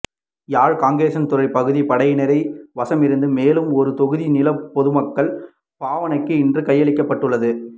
யாழ் காங்கேசன்துறை பகுதியில் படையினர் வசமிருந்த மேலும் ஒரு தொகுதி நிலம் பொதுமக்கள் பாவனைக்கு இன்று கையளிக்கப்பட்டுள்ளது